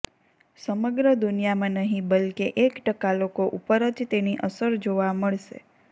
સમગ્ર દુનિયામાં નહીં બલ્કે એક ટકા લોકો ઉપર જ તેની અસર જોવા મળશે